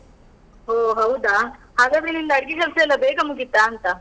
ಓಹ್ ಹೌದಾ? ಹಾಗಾದ್ರೆ ನಿನ್ದು ಅಡ್ಗೆ ಕೆಲ್ಸ ಎಲ್ಲ ಬೇಗ ಮುಗೀತಾ ಅಂತ?